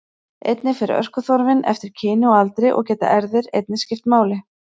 Einnig fer orkuþörfin eftir kyni og aldri og geta erfðir einnig skipt máli.